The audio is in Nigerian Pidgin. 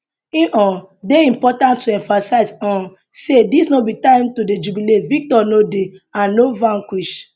e um dey important to emphasize um say dis no be time to dey jubilate victor no dey and no vanquished